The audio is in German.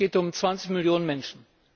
Es geht um zwanzig Millionen Menschen.